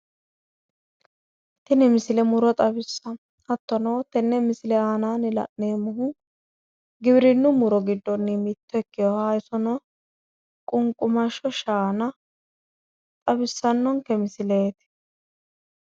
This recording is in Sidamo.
Tini misile muro xawissanno hattono tenne misile aananni la'neemmohu giwirinnu muronni mitto ikkinoha qunqumashsho shaana xawissannonke misileeti.